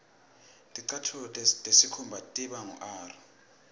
ticatfulo tesikhumba tiba ngur